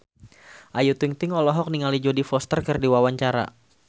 Ayu Ting-ting olohok ningali Jodie Foster keur diwawancara